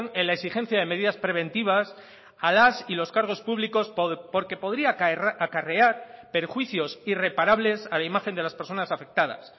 en la exigencia de medidas preventivas a las y los cargos públicos porque podría acarrear perjuicios irreparables a la imagen de las personas afectadas